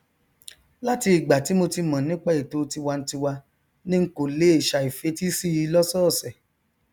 láti ìgbà tí mo ti mọn nípa ètò tiwantiwa ni n kò lè ṣàì fetísí i lọsọọsẹ